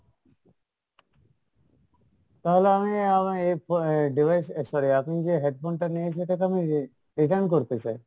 তাহলে আমি আমি এই আহ device sorry আপনি যে headphone টা নিয়েছি সেটাকে আমি re~return করতে চাই।